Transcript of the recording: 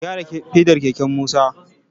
Ka gyara fedar keken Musa!